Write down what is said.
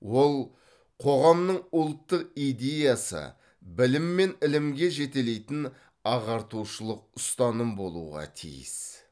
ол қоғамның ұлттық идеясы білім мен ілімге жетелейтін ағартушылық ұстаным болуға тиіс